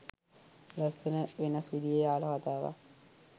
ලස්සන වෙනස් විදියෙ ආල කතාවක්